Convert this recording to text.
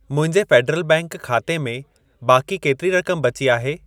मुंहिंजे federal bank खाते में बाक़ी केतिरी रक़म बची आहे?